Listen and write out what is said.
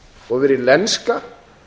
og verið lenska